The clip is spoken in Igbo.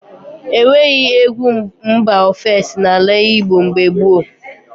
E nweghị egwu mba ofesi n’ala Igbo mgbe gboo.